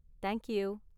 Thank you!